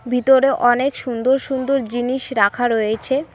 ভিতরে অনেক সুন্দর সুন্দর জিনিস রাখা রয়েছে।